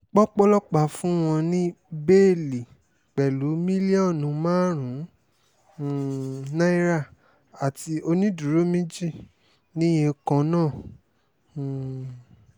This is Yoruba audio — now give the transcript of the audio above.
pọ́pọlọ́pà fún wọn ní bẹ́ẹ́lí pẹ̀lú mílíọ̀nù márùn-ún um náírà àti onídùúró méjì níye kan náà um